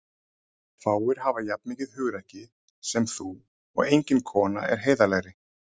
Fáir hafa jafn mikið hugrekki sem þú og engin kona er heiðarlegri.